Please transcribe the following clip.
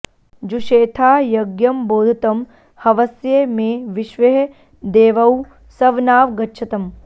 जु॒षेथां॑ य॒ज्ञं बोध॑तं॒ हव॑स्य मे॒ विश्वे॒ह दे॑वौ॒ सव॒नाव॑ गच्छतम्